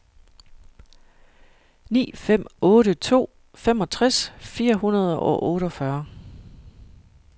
ni fem otte to femogtres fire hundrede og otteogfyrre